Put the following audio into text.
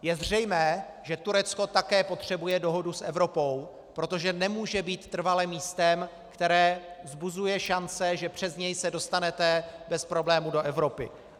Je zřejmé, že Turecko také potřebuje dohodu s Evropou, protože nemůže být trvale místem, které vzbuzuje šance, že přes něj se dostanete bez problémů do Evropy.